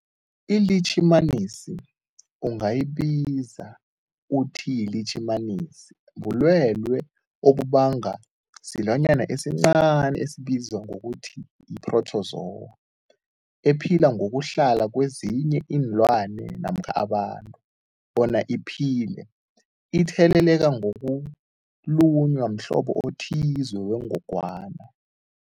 ILitjhimanisi ungayibiza uthiyilitjhimanisi, bulwelwe obubangwa silwanyana esincani esibizwa ngokuthiyi-phrotozowa ephila ngokuhlala kezinye iinlwana namkha abantu bona iphile itheleleka ngokulunywa mhlobo othize wengogwana.